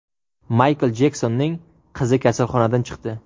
Maykl Jeksonning qizi kasalxonadan chiqdi.